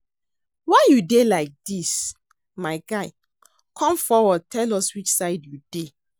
Why you dey like dis? My guy come forward tell us which side you dey